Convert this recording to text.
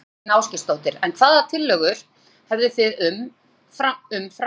Þóra Kristín Ásgeirsdóttir: En hvaða tillögur hefðu þið um, um framhaldið?